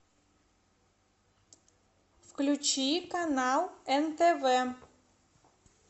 включи канал нтв